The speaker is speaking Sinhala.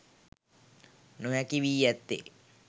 නොහැකි වී ඇත්තේ